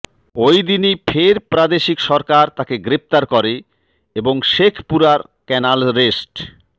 ওই দিনই ফের প্রাদেশিক সরকার তাকে গ্রেফতার করে এবং শেখপুরার ক্যানাল রেস্ট